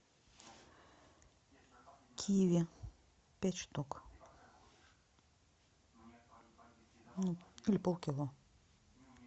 киви пять штук или полкило